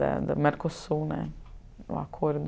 Da da Mercosul, o acordo.